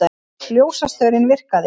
Ljósastaurinn virkaði